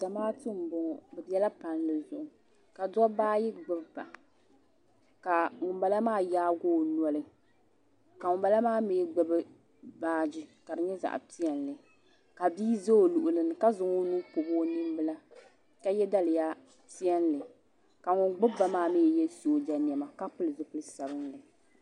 zamaatu n boŋo bi biɛla palli zuɣu ka dabba ayi gbubba ka ŋunbala maa yaagi o noli ka ŋunbala maa mii gbubi baaji ka di nyɛ zaɣ piɛlli ka bia ʒɛ o luɣuli ni ka zaŋ o nuu pobi o ninbila ka yɛ daliya piɛlli ka ŋun gbuba maa mii yɛ sooja niɛma ka pili zipili sabinli